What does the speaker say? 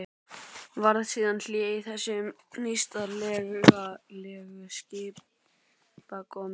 Varð síðan hlé á þessum nýstárlegu skipakomum.